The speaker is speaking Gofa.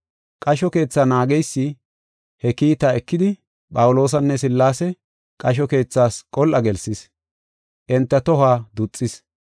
Qasho keethaa naageysi he kiita ekidi, Phawuloosanne Sillaase qasho keethas qol7a gelsis. Enta tohuwa duxis.